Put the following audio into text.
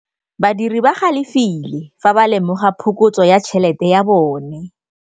Badiri ba galefile fa ba lemoga phokotsô ya tšhelête ya bone.